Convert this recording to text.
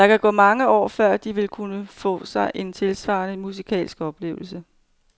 Der kan gå mange år, før de vil kunne få sig en tilsvarende musikalsk oplevelse.